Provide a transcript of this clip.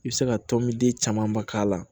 I bɛ se ka tɔn min den camanba k'a la